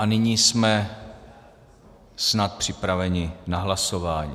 A nyní jsme snad připraveni na hlasování.